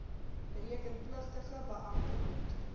rekenpligtige beampte moet